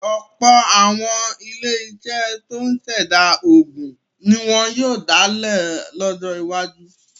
Ọ̀pọ̀ àwọn iléeṣẹ́ tó ń ṣẹ̀dá oògùn ní wọ́n yóò dálẹ̀ lọ́jọ́ iwájú.